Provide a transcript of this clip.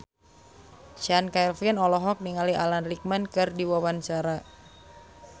Chand Kelvin olohok ningali Alan Rickman keur diwawancara